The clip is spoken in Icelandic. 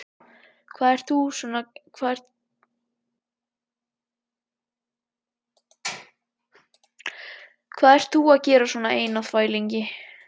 Hvað ert þú að gera svona einn á þvælingi?